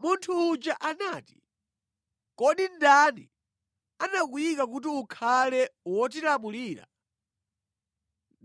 Munthu uja anati, “Kodi ndani anakuyika kuti ukhale wotilamulira